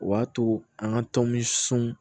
O b'a to an ka tɔnmiso